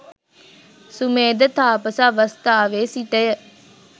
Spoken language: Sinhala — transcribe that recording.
සුමේධ තාපස අවස්ථාවේ සිටය.